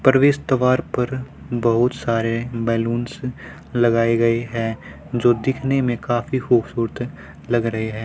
परवेश द्वार पर बहुत सारे बैलूनस लगाए गए हैं जो दिखने मे काफी खूबसूरत लग रहे हैं।